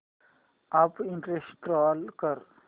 app install कर